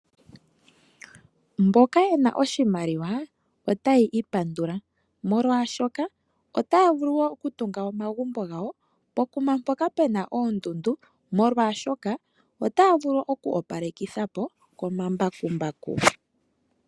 Mboka yena oshimaliwa otaya ipandula molwaashoka otaya vulu oku tunga omagumbo gawo pokuma mpoka puna oondundu. Molwaashoka otaya vulu oku opalekithapo komambakumbaku.